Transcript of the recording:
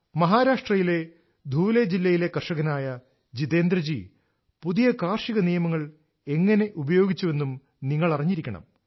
മഹാരാഷ്ട്രയിലെ ധൂലെ ജില്ലയിലെ കർഷകനായ ജിതേന്ദ്ര ജി പുതിയ കാർഷിക നിയമങ്ങൾ എങ്ങനെ ഉപയോഗിച്ചുവെന്നും നിങ്ങൾ അറിഞ്ഞിരിക്കണം